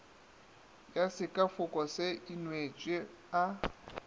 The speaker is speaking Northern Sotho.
ya sekafoko se inweše a